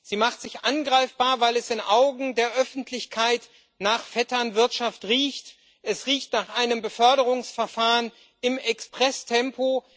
Sie macht sich angreifbar, weil es in den Augen der Öffentlichkeit nach Vetternwirtschaft riecht, es riecht nach einem Beförderungsverfahren im Expresstempo.